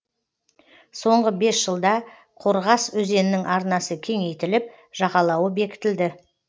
соңғы бес жылда қорғас өзенінің арнасы кеңейтіліп жағалауы бекітілді